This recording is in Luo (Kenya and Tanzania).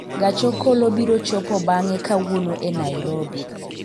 gach okolo biro chopo bang'e kawuono e nairobi